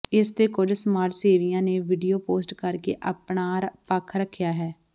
ਇਸ ਤੇ ਕੁੱਝ ਸਮਾਜ ਸੇਵੀਆਂ ਨੇ ਵੀਡੀਓ ਪੋਸਟ ਕਰ ਕੇ ਅਪਣਾ ਪੱਖ ਰੱਖਿਆ ਹੈ